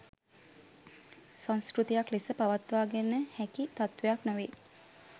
සංස්කෘතියක් ලෙස පවත්වාගෙන හැකි තත්ත්වයක් නොවේ.